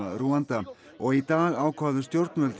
Rúanda og í dag ákváðu stjórnvöld